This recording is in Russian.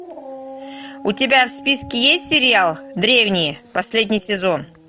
у тебя в списке есть сериал древние последний сезон